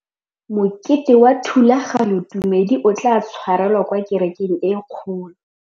Mokete wa thulaganyôtumêdi o tla tshwarelwa kwa kerekeng e kgolo.